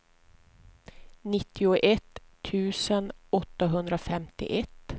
nittioett tusen åttahundrafemtioett